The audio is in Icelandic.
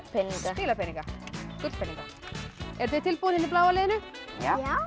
spilapeninga gullpeninga eruð þið tilbúin í bláa liðinu já